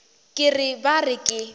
ke re ba re ke